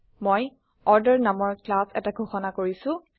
মই অৰ্ডাৰ নামৰ ক্লাছ এটা ঘোষণা কৰিছো